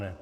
Ne.